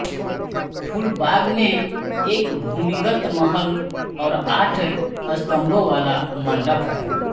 फूलबाग में एक भूमिगत महल और आठ स्तम्भों वाला मंडप है